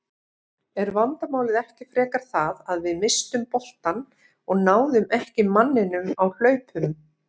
Er vandamálið ekki frekar það að við misstum boltann og náðum ekki manninum á hlaupum?